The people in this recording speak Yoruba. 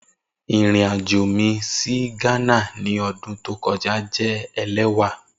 Irin ajo mi si Ghana ni ọdun to kọja jẹ ẹlẹwà.